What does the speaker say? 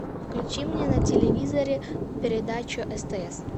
включи мне на телевизоре передачу стс